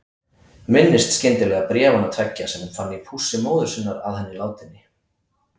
Minnist skyndilega bréfanna tveggja sem hún fann í pússi móður sinnar að henni látinni.